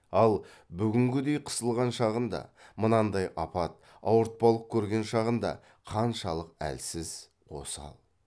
ал бүгінгідей қысылған шағында мынандай апат ауыртпалық көрген шағында қаншалық әлсіз осал